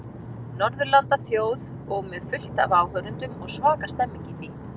Norðurlandaþjóð og með fullt af áhorfendum og svaka stemmning í því.